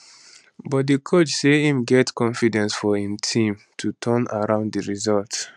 but di coach say im get confidence for im team to turn around di results